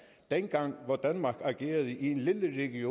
mig at vi er enige